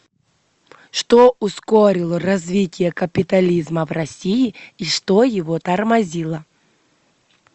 что ускорило развитие капитализма в россии и что его тормозило